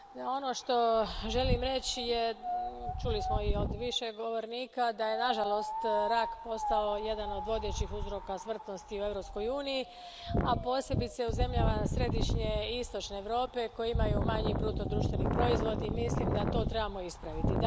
Ono što želim reći je, čuli smo i od više govornika, da je nažalost rak postao jedan od vodećih uzroka smrtnosti u Europskoj uniji, a posebice u zemljama središnje i istočne Europe koje imaju manji bruto društveni proizvod i mislim da to trebamo ispraviti.